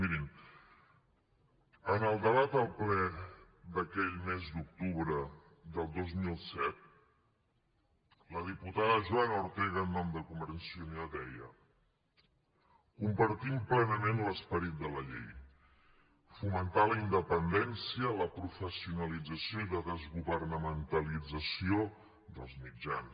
mirin en el debat del ple d’aquell mes d’octubre del dos mil set la diputada joana ortega en nom de convergència i unió deia compartim plenament l’esperit de la llei fomentar la independència la professionalització i la desgovernamentalització dels mitjans